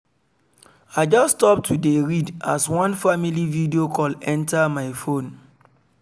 i just stop to dey read as one family video call enter my phone